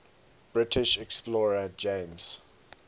british explorer james